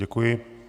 Děkuji.